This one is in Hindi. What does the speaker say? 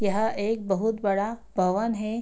यह एक बहुत बड़ा भवन है।